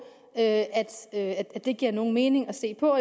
at at det giver nogen mening at se på